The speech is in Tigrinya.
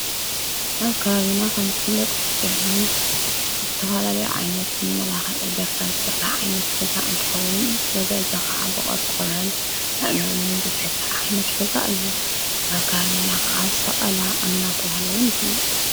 ኣብ ካ ብና ኸምዘፍለጡ ኢሕን እተውሃልለይ ዓይነት መላኸ እገርካ ዝሠራሕ ዓይነት ገዛ እንትኸዉን በዘእዞ ኸዓ በቐርቆረል ኣእማንን ዘተሠሪ ኃይነት ገዛ ኢሁ ኣብ ካ ብና ኸዓ ሠቐላ እናተብሃለዉን ይፅዋዕ